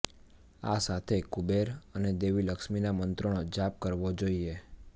આ સાથે કુબેર અને દેવી લક્ષ્મીના મંત્રોનો જાપ કરવો જોઈએ